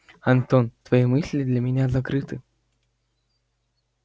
антон твои мысли для меня закрыты